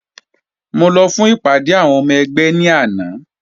Mo lọ fún ìpàdé Úníónì náà lánàá